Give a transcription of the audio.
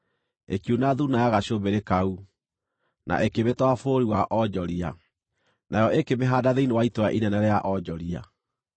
ĩkiuna thuuna ya gacũmbĩrĩ kau, na ĩkĩmĩtwara bũrũri wa onjoria, nayo ĩkĩmĩhaanda thĩinĩ wa itũũra inene rĩa onjoria.